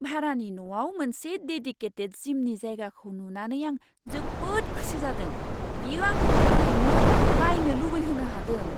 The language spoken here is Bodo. भारानि न'आव मोनसे देदिकेटेद जिमनि जायगाखौ नुनानै आं जोबोद खुसि जादों, बेयो आंखौ थारैनो बायनो लुबैहोनो हादों!